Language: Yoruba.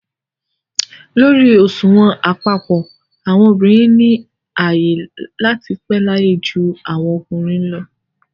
Lórí òṣùwọ̀n àpapọ̀, àwọn obìnrin ni ààyè láti pẹ́ láyé ju àwọn ọkùnrin lọ